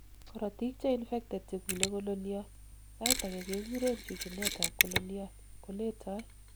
korotik cheinfected chekulei kololiot, sait agei kekuren chuchunet ab kololiot, koletoi